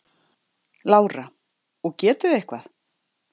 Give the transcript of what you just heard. Lára: Og getið þið eitthvað?